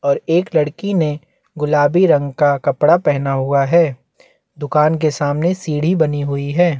और एक लड़की ने गुलाबी रंग का कपड़ा पहना हुआ है दुकान के सामने सीढी बनी हुई है।